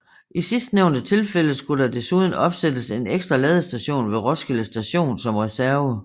I sidstnævnte tilfælde skulle der desuden opsættes en ekstra ladestation ved Roskilde Station som reserve